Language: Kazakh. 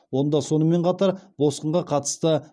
онда сонымен қатар босқынға қатысты